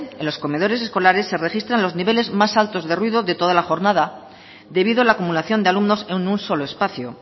en los comedores escolares se registran los niveles más altos de ruido de toda la jornada debido a la acumulación de alumnos en un solo espacio